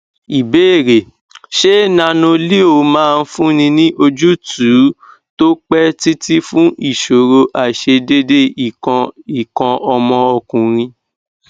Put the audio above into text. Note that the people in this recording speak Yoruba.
ìbéèrè ṣé nanoleo máa fúnni ní ojútùú tó pẹ títí fun ìṣòro aisedede ikan ikan omo okunrin